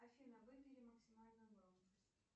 афина выбери максимальную громкость